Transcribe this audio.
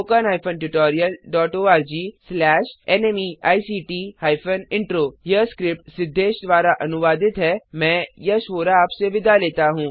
httpspoken tutorialorgNMEICT Intro यह script Siddhesh द्वारा अनुवादित है मैं यश वोरा आपसे विदा लेता हूँ